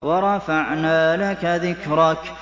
وَرَفَعْنَا لَكَ ذِكْرَكَ